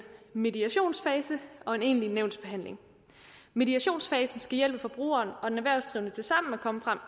mediationsfase og en egentlig nævnsbehandling mediationsfasen skal hjælpe forbrugeren og den erhvervsdrivende til sammen at komme frem